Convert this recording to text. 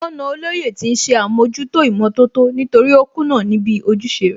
Wọ́n na Olóyè tí ń ṣe àmójútó ìmọ̀tótó nítorí ó kùnà níbi ojúṣe rẹ̀